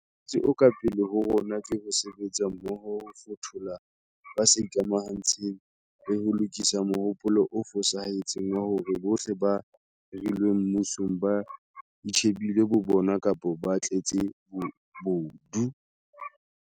Mosebetsi o ka pele ho rona ke ho sebetsa mmoho ho fothola ba sa ikamantshe ng, le ho lokisa mohopolo o fosahetseng wa hore bohle ba hirilweng mmusong ba itjhe bile bo bona kapa ba tletse bobodu.